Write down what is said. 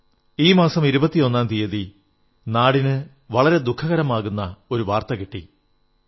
ഈ മാസം 21ാം തീയതി വളരെ ദുഃഖമേകുന്ന ഒരു വാർത്ത രാജ്യത്തിന് ലഭിച്ചു